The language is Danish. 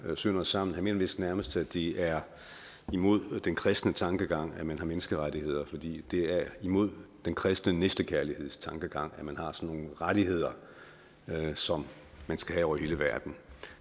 sønder og sammen han mener vist nærmest at det er imod den kristne tankegang at man har menneskerettigheder fordi det er imod den kristne næstekærlighedstankegang at man har sådan nogle rettigheder som man skal have over hele verden